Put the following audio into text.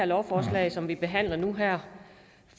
lovforslag som vi behandler nu her